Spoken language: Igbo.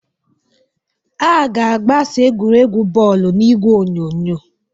A ga-agbasa egwuregwu bọọlụ n'igwe onyonyo.